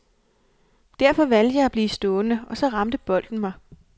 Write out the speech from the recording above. Derfor valgte jeg at blive stående, og så ramte bolden mig.